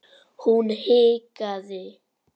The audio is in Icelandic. Hún hikaði.